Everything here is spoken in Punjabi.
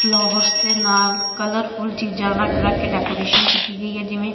ਫਲੋਵਰਸ ਦੇ ਨਾਲ ਕਲਰਫੁਲ ਚੀਜਾਂ ਰੱਖ ਰੱਖ ਕੇ ਦੇਕੋਰੇਸ਼ਨ ਕੀਤੀ ਗਈ ਹੈ ਜਿਵੇਂ।